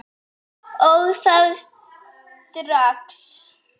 Og það strax.